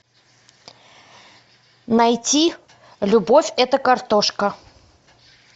найти любовь это картошка